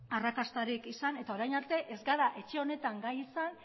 arrakastarik izan eta orain arte ez gara etxe honetan gai izan